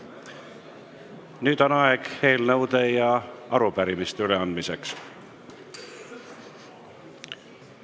Nüüd on aeg eelnõude ja arupärimiste üleandmiseks.